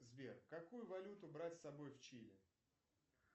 сбер какую валюту брать с собой в чили